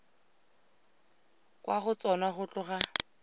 kwa go tsona go tloga